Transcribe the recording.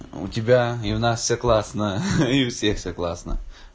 у тебя и у нас все классно и у всех все классно